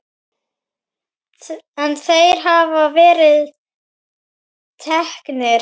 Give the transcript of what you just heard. En þeir hafa verið teknir.